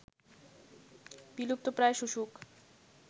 বিলুপ্ত প্রায় শুশুক